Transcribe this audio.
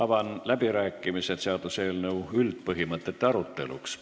Avan läbirääkimised seaduseelnõu üldpõhimõtete arutamiseks.